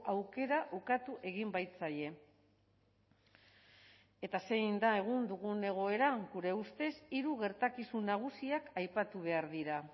aukera ukatu egin baitzaie eta zein da egun dugun egoera gure ustez hiru gertakizun nagusiak aipatu behar dira